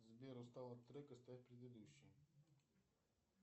сбер устал от трека ставь предыдущий